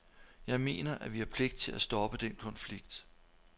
Jeg mener, at vi har pligt til at stoppe den konflikt.